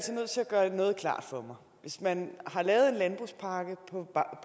gøre noget klart for mig hvis man har lavet en landbrugspakke